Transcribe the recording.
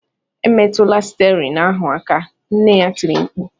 Emetụla stiarin ahụ aka!” nne ya tiri mkpu